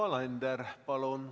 Yoko Alender, palun!